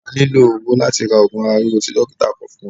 A nílò owó láti ra ogun ara rírọ tí dókítà kọ fún wa.